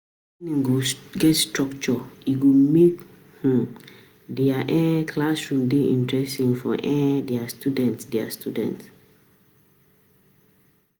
If learning get structure, e go make di classroom dey interesting for di student.